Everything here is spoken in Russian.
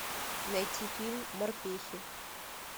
найти фильм морпехи